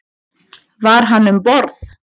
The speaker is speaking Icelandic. Var hann um borð?